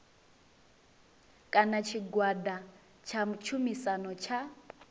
kana tshigwada tsha tshumisano tsha